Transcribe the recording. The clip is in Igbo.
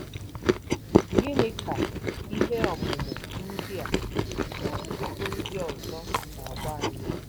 Gịnị ka ihe ọmụmụ ndị a na ọtụtụ ndị ọzọ na-agwa anyị?